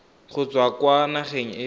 go tswa kwa nageng e